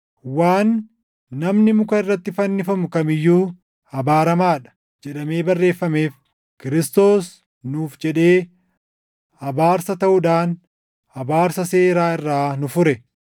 Waan, “Namni muka irratti fannifamu kam iyyuu abaaramaa dha” + 3:13 \+xt KeD 21:23\+xt* jedhamee barreeffameef, Kiristoos nuuf jedhee abaarsa taʼuudhaan abaarsa seeraa irraa nu fure.